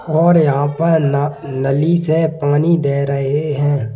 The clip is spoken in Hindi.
और यहां पर न नली से पानी दे रहे हैं।